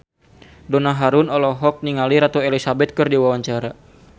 Donna Harun olohok ningali Ratu Elizabeth keur diwawancara